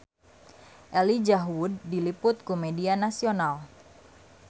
Elijah Wood diliput ku media nasional